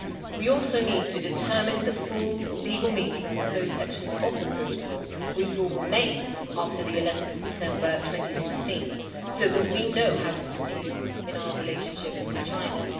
We also need to determine the full legal meaning of those sections of the protocol which will remain after 11 December 2016 so that we know how to proceed in our relationship with China.